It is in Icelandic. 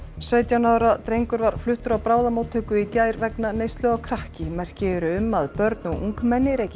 sautján ára drengur var fluttur á bráðamóttöku í gær vegna neyslu á krakki merki eru um að börn og ungmenni reyki